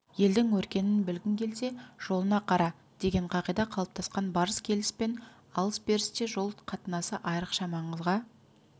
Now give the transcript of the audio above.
елдің өркенін білгің келсе жолына қара деген қағида қалыптасқан барыс-келіс пен алыс-берісте жол қатынасы айрықша маңызға